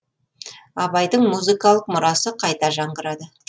абайдың музыкалық мұрасы қайта жаңғырады